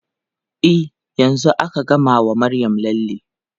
E, yanzu aka gama wa Maryam lalle.